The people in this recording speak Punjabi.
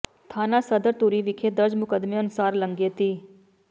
ਥਾਣਾ ਸਦਰ ਧੂਰੀ ਵਿਖੇ ਦਰਜ ਮੁਕੱਦਮੇ ਅਨੁਸਾਰ ਲੰਘੇ ਦਿ